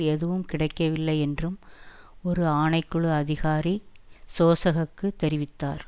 எதுவும் கிடைக்கவில்லை என்றும் ஒரு ஆணை குழு அதிகாரி சோசக க்குத் தெரிவித்தார்